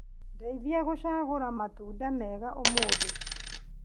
Ndeithia gũcagũra matunda mega ũmũthĩ.